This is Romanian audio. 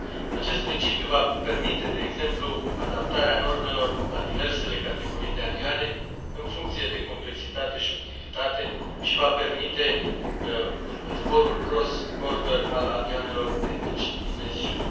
Acest principiu va permite, de exemplu, adaptarea normelor la diversele categorii de avioane în funcție de complexitate și utilitate și va permite zborul cross border al avioanelor de mici dimensiuni.